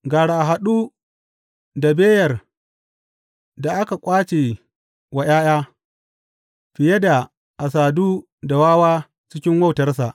Gara a haɗu da beyar da aka ƙwace wa ’ya’ya fiye da a sadu da wawa cikin wautarsa.